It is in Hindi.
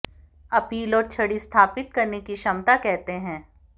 अपील और छड़ी स्थापित करने की क्षमता कहते हैं